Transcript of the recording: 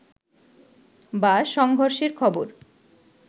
বা সংঘর্ষের খবর